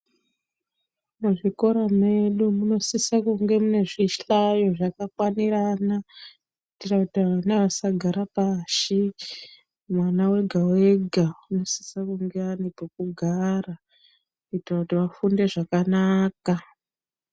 Muzvikora medu munosisa kunge mune zvihlayo zvakakwanirana kuitira kuti ana asagare pashi. Mwana wega-wega unosise kunge ane pokugara kuitire kuti afunde zvakanaka.